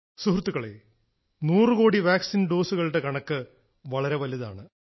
സുഹൃത്തുക്കളേ നൂറു കോടി വാക്സിൻ ഡോസുകളുടെ കണക്ക് വളരെ വലുതാണ്